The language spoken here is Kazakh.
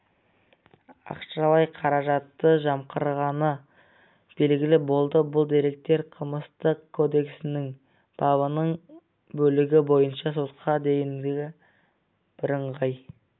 ақшалай қаражатты жымқырығаны белгілі болды бұл деректер қылмыстық кодексінің бабының бөлігі бойынша сотқа дейінгі бірыңғай